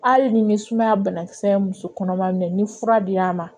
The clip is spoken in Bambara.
Hali ni bɛ sumaya banakisɛ ye muso kɔnɔma minɛ ni fura dira a ma